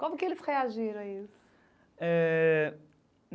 Como que eles reagiram a isso? Eh.